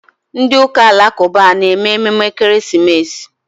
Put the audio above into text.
Ndị ụka alakụba a na-eme emume ekeresimesi?